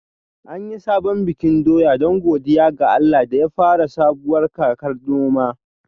An yi sabon bikin doya don godiya ga Allah da ya fara sabuwar kakar noma